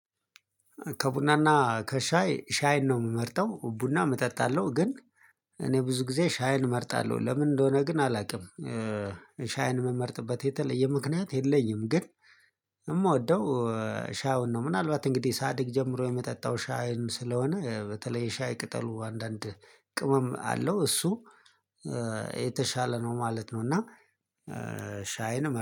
ከቡና ና ከሻይ ሻይን ነው ምመርጠው ቡናም እጠጣለሁ ግን እኔ ብዙ ጊዜ ሻይን እመርጣለሁ ለምን እንደሆነ ግን አላቅም። ሻይን ምመርጥበት የተለየ ምክንያት የለኝም። ግን ሻይውን ነው ምናልባት እንግዲህ ሳድግ ጀምሮ የመጠጣው ሻይን ስለሆነ በተለይ ሻይ ቅጠሉ አንዳንድ ቅመም አለው እሱ የተሻለ ነው ማለት ነው። እና ሻይን እመ